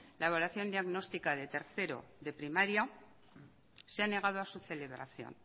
la evaluación diagnóstica de tercero de primaria se ha negado a su celebración